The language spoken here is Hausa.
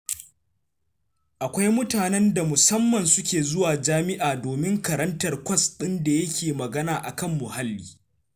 Akwai mutanen da musamman suke zuwa jami'a domin karantar kwas ɗin da yake magana a kan muhalli.